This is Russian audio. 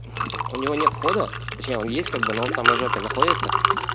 у него нет входа зачем есть как бы он самый жаркий находится